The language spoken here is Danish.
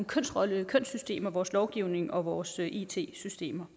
kønsrolle og kønssystemer altså vores lovgivning og vores it systemer